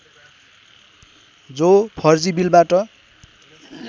जो फर्जी बिलबाट